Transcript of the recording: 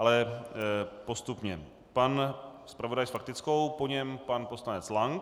Ale postupně - pan zpravodaj s faktickou, po něm pan poslanec Lank.